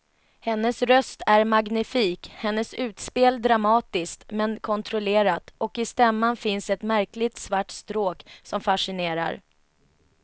Hennes röst är magnifik, hennes utspel dramatiskt men kontrollerat och i stämman finns ett märkligt svart stråk som fascinerar.